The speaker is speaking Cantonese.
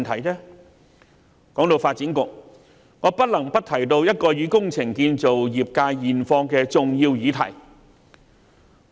談到發展局，我不能不提到一項與工程建造業界現況相關的重要議題。